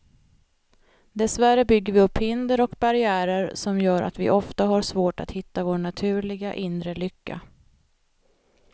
Dessvärre bygger vi upp hinder och barriärer som gör att vi ofta har svårt att hitta vår naturliga, inre lycka.